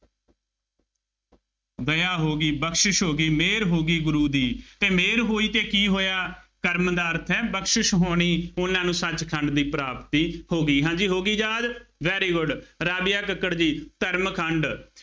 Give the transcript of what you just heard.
ਦਇਆਂ ਹੋ ਗਈ, ਬਖਸ਼ਿਸ਼ ਹੋ ਗਈ, ਮਿਹਰ ਹੋ ਗਈ, ਗੁਰੂ ਦੀ ਅਤੇ ਮਿਹਰ ਹੋਈ ਤੇ ਕੀ ਹੋਇਆ, ਕਰਮ ਦਾ ਅਰਥ ਹੈ, ਬਖਸ਼ਿਸ਼ ਹੋਣੀ, ਉਹਨਾ ਨੂੰ ਸੱਚਖੰਡ ਦੀ ਪ੍ਰਾਪਤੀ ਹੋ ਗਈ। ਹਾਂਜੀ ਹੋ ਗਈ ਯਾਦ, very good ਰਾਧੀਆਂ ਕੱਕੜ ਜੀ, ਕਰਮ ਖੰਡ